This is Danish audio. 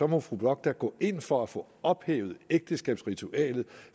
må fru bock da gå ind for at få ophævet ægteskabsritualet